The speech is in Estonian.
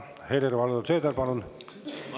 Helir‑Valdor Seeder, palun!